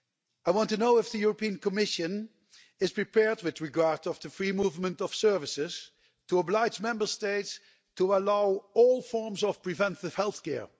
I want to know if the European Commission is prepared, with regard to the free movement of services, to oblige Member States to allow all forms of preventive healthcare.